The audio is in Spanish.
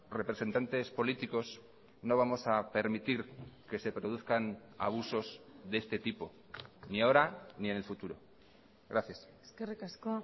representantes políticos no vamos a permitir que se produzcan abusos de este tipo ni ahora ni en el futuro gracias eskerrik asko